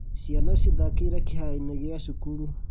Ciana ciathakĩire kĩharo-inĩ gĩa cukuru